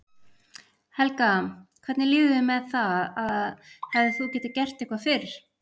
Helga: Hvernig líður þér með það að hefðir þú getað gert eitthvað fyrr?